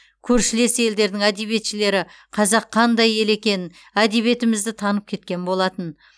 көршілес елдердің әдиебетшілері қазақ қандай ел екенін әдебиетімізді танып кеткен болатын